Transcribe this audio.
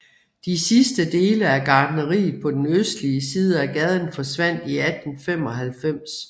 De sidste dele af gartneriet på den østlige side af gaden forsvandt i 1895